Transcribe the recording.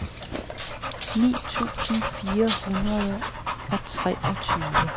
ni tusind fire hundrede og treogtyve